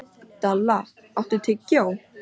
Dalla, áttu tyggjó?